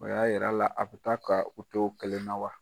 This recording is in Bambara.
O y'a yira a la a bɛ taa ka u to kelenna wa?